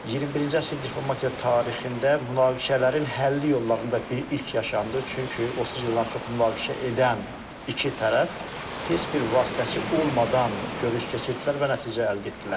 21-ci əsr diplomatiya tarixində münaqişələrin həlli yollarında bir ilk yaşandı, çünki 30 ildən çox münaqişə edən iki tərəf heç bir vasitəçi olmadan görüş keçirtdilər və nəticə əldə etdilər.